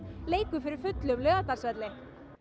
leikur fyrir fullum Laugardalsvelli